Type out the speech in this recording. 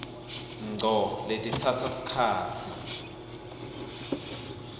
ngco letitsatsa sikhatsi